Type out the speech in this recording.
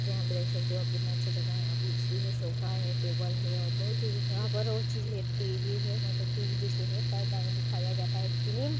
यहाँ पे देख सकते हैं यहाँ कितनी अच्छी जगह है यहाँ कुर्सी है सोफा है टेबिल है और बहुत है यहाँ पर और चीज है टेबिल है टी. वी जैसी है पर्दा में दिखाया जाता है फिल्म --